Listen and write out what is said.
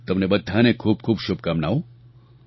તમને બધાને ખૂબ ખૂબ શુભકામનાઓ